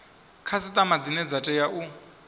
khasiṱama dzine dza tea u